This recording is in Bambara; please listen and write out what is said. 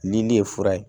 Nin ne ye fura ye